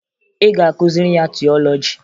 Ị ga-akụziri ya tiọlọji!